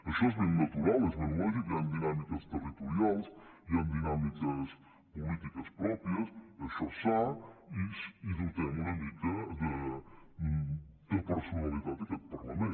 això és ben natural és ben lògic hi han dinàmiques territorials hi han dinàmiques polítiques pròpies això és sa i dotem una mica de personalitat aquest parlament